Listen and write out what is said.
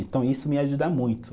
Então, isso me ajuda muito.